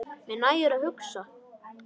Mér nægir að hugsa.